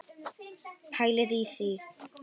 Pælið í því!